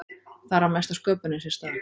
Þar á mesta sköpunin sér stað.